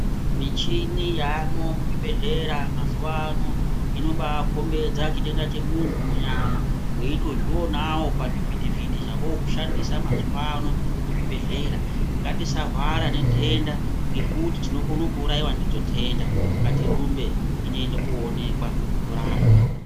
Michini yaamwo muzvibhedhlera mazuwa ano inobakhombidza chitenda chemuntu munyama. Weitozvionawo pachivhiti vhiti zvava a kushandisa mazuwa ano muzvibhedhlera. Ngatisahwara ngenhenda ngekuti tinokona kuurayiwa ndidzo nhenda. Ngatirumbe tinotenda koonekwa, torapwa.